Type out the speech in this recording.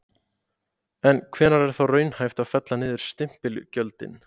En hvenær er þá raunhæft að fella niður stimpilgjöldin?